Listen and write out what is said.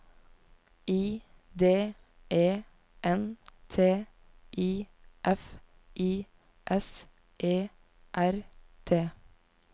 I D E N T I F I S E R T